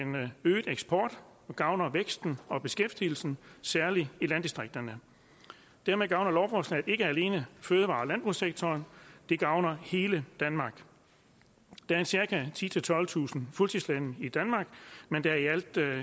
øget eksport og gavner vækst og beskæftigelsen særlig i landdistrikterne dermed gavner lovforslaget ikke alene fødevare og landbrugssektoren det gavner hele danmark der er cirka titusind tolvtusind fuldtidslandmænd i danmark men der er i alt